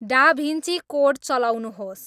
Da Vinci code चलाउनुहोस्